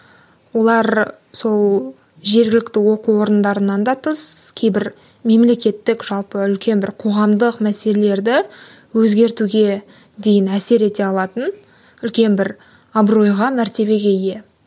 олар сол жергілікті оқу орындарынан да тыс кейбір мемлекеттік жалпы үлкен бір қоғамдық мәселелерді өзгертуге дейін әсер ете алатын үлкен бір абыройға мәртебеге ие